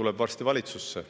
tuleb varsti valitsusse.